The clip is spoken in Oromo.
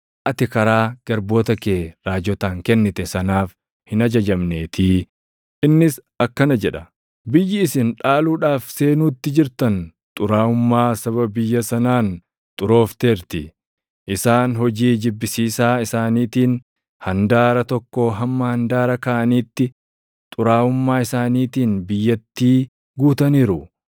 ati karaa garboota kee raajotaan kennite sanaaf hin ajajamneetii; innis akkana jedha: ‘Biyyi isin dhaaluudhaaf seenuutti jirtan xuraaʼummaa saba biyya sanaan xuroofteerti. Isaan hojii jibbisiisaa isaaniitiin handaara tokkoo hamma handaara kaanitti xuraaʼummaa isaaniitiin biyyattii guutaniiru.